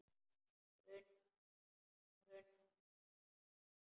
Grunar hann mig?